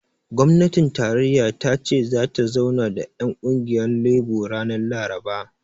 Gwamnatin tarayya ta ce zata zauna da ƴan ƙungiyar lebo ranar laraba